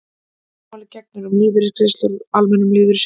öðru máli gegnir um lífeyrisgreiðslur úr almennum lífeyrissjóðum